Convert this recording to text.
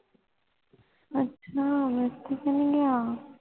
ਅੱਛਾ ਮੇਰੇ ਤੇ ਕਯੋ ਨਹੀਂ ਗਯਾ